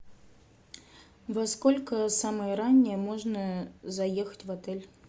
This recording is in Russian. во сколько самое раннее можно заехать в отель